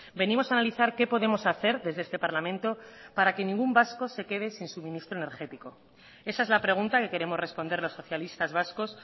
venimos a analizar qué podemos hacer desde este parlamento para que ningún vasco se quede sin suministro energético esa es la pregunta que queremos responder los socialistas vascos